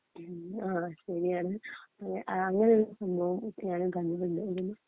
ങാ ശെരിയാണ് അങ്ങനെ ഒരു സംഭവം ഞാനും കണ്ടിട്ടുണ്ട് ഏവടയോ